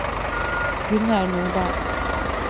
Gunnar Nordal